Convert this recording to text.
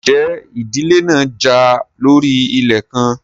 Ǹjẹ́ ìdílé náà jà lórí ilẹ̀ kan?